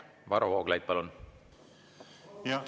Varro Vooglaid, palun!